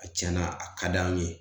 A tiɲɛna, a ka d'an ye.